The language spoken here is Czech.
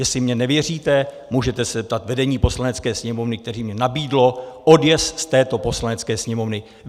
Jestli mně nevěříte, můžete se zeptat vedení Poslanecké sněmovny, které mně nabídlo odjezd z této Poslanecké sněmovny.